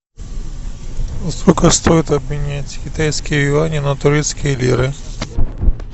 сколько стоит обменять китайские юани на турецкие лиры